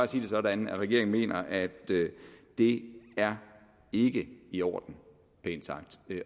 sige det sådan at regeringen mener at det er ikke i orden pænt sagt